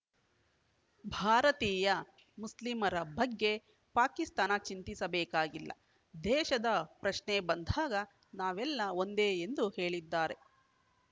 ಭಾರತೀಯ ಮುಸ್ಲಿಮರ ಬಗ್ಗೆ ಪಾಕಿಸ್ತಾನ ಚಿಂತಿಸಬೇಕಾಗಿಲ್ಲ ದೇಶದ ಪ್ರಶ್ನೆ ಬಂದಾಗ ನಾವೆಲ್ಲಾ ಒಂದೇ ಎಂದು ಹೇಳಿದ್ದಾರೆ